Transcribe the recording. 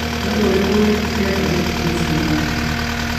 nĩ ũndũ ũrĩkũ wekĩkire ngathĩti-inĩ cia ũmũthĩ